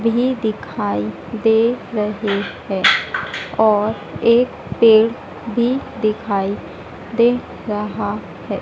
भीं दिखाई दे रहें हैं और एक पेड़ भीं दिखाई दे रहा हैं।